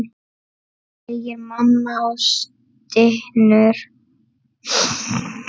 segir mamma og stynur.